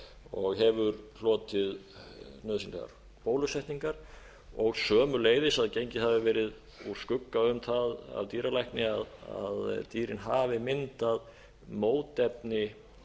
og hefur hlotið nauðsynlegar bólusetningar og sömuleiðis að gengið hafi verið úr skugga um það af dýralækna að dýrin hafi myndað mótefni